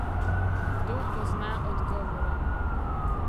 Kdo pozna odgovore?